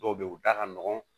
Dɔw bɛ yen u da ka nɔgɔn